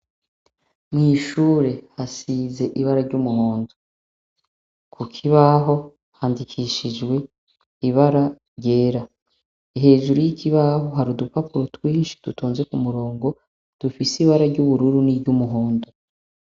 Mw'ishure hasize ibara ry'umuhondo, ku kibaho handikishijwe ibara ryera, hejuru y'ikibaho hari udupapuro twinshi dutonze k'umurongo dufise ibara ry'ubururu niry'umuhondo.